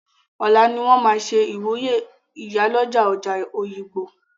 Ọ̀lá ni wọ́n máa ṣe ìwúyè ìyálọ́jà ọjà Òyìngbò.